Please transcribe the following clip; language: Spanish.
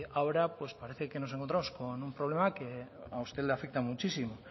ahora parece que nos encontramos con un problema que a usted le afecta muchísimo